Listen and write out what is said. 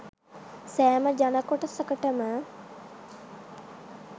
සෑම ජන කොටසකටම